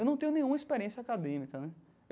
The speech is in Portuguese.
Eu não tenho nenhuma experiência acadêmica né.